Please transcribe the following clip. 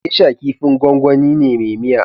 Gesha kifin gwangwani ne me miya